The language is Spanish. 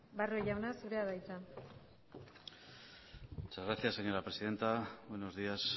barrio jauna zurea da hitza muchas gracias señora presidenta buenos días